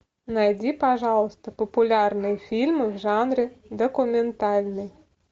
найди пожалуйста популярные фильмы в жанре документальный